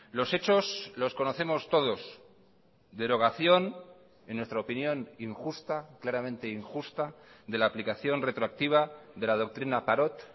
los hechos los conocemos todos derogación en nuestra opinión injusta claramente injusta de la aplicación retroactiva de la doctrina parot